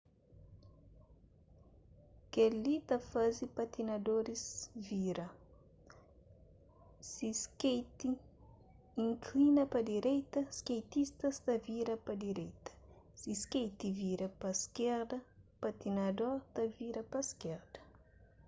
kel-li ta faze patinadoris vira si skeiti inklina pa direita skeitista ta vira pa direita si skeiti vira pa iskerda patinador ta vira pa iskerda